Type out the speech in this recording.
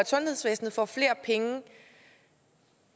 sundhedsvæsenet får flere penge